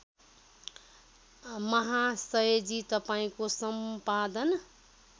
महाशयजी तपाईँको सम्पादन